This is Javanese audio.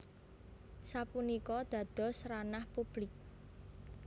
Sapunika dados ranah publik